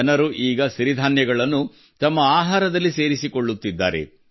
ಜನರು ಈಗ ಸಿರಿಧಾನ್ಯಗಳನ್ನು ತಮ್ಮ ಆಹಾರದಲ್ಲಿ ಸೇರಿಸಿಕೊಳ್ಳುತ್ತಿದ್ದಾರೆ